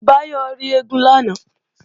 Báyọ̀ rí eégún lánàá